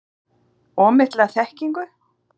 Of mikla þekkingu?